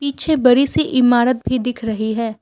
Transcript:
पीछे बड़ी सी इमारत भी दिख रही है।